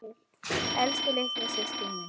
Elsku litla systa mín.